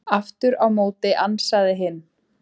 Aftur á móti ansaði hinn: